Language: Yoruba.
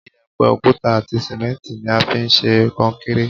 Iyẹ̀pẹ̀, òkúta àti sìmẹ́ǹtì ni a fi ń ṣe kọnkéré.